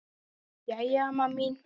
Jæja, amma mín.